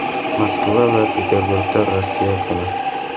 Moskva va Peterburgda Rossiya kuni.